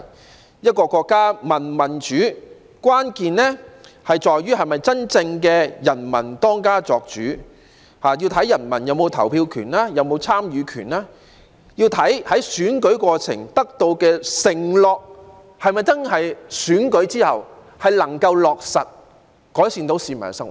要判定一個國家民主與否，要看國家是否真正由人民當家作主，關鍵在於投票權及參與權，要看在選舉過程許下的承諾在選舉之後是否真的能夠落實，改善市民生活。